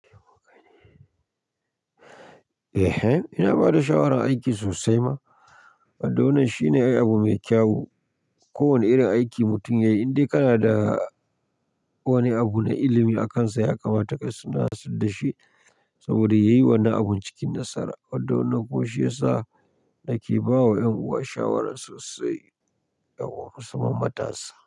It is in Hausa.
Eh, ina bada shawarar aiki sosai ma. Wado na shine abu mai kyau. Ko wane irin aiki mutum yayi, in dai kana da wani abu na ilimi a kansa ya kamata kai suna sadashi saboda yayi wani abun cikin nasara. Wado na ko shi yasa nake bawa ƴan uwa shawara sosai, ya gombu su mamata sa.